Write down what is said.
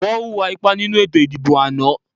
Wọ́n hu ìwà ipá nínú ètò ìdìbò àná